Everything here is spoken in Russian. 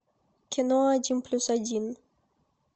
кино один плюс один